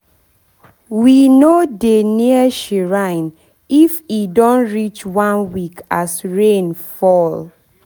we no dey near shrine if e don reach one week as rain fall